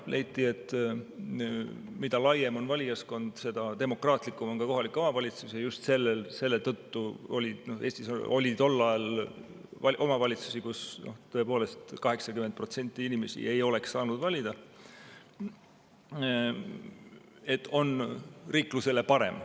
Leiti, et mida laiem valijaskond, seda demokraatlikum on kohalik omavalitsus, ja just selle tõttu otsustati – Eestis oli tol ajal omavalitsusi, kus tõepoolest 80% inimesi ei oleks saanud valida –, et nii on riiklusele parem.